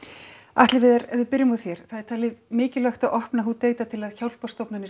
Atli Viðar ef við byrjum á þér það er talið mikilvægt að opna til að hjálparstofnanir